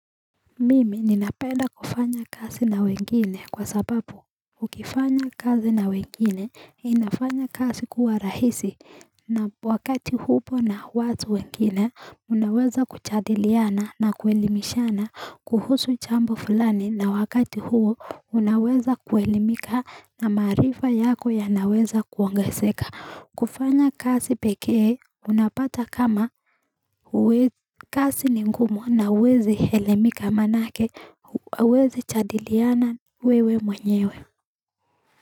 Mimi ninapenda kufanya kazi na wengine kwa sababu Ukifanya kazi na wengine inafanya kazi kuwa rahisi na wakati hupo na watu wengine unaweza kujadiliana na kuelimishana kuhusu jambo fulani na wakati huo unaweza kuelimika na maarifa yako yanaweza kuongezeka kufanya kazi pekee unapata kama kazi ni ngumu na huwezi elimika manake huwezi jadiliana wewe mwenyewe.